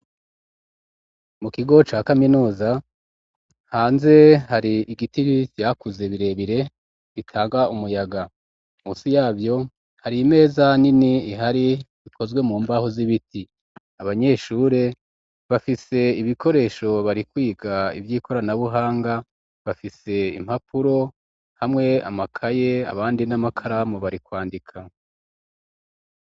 Mu kigo ca kaminuza hanze hari ibiti vyakuze birebire bitanga umuyaga munsi yavyo hari imeza nini ihari ikozwe mu mbaho z'ibiti abanyeshure bafise ibikoresho barikwiga ivyikoranabuhanga bafise impapuro hamwe amakaye abandi n'amakaramu barikwandika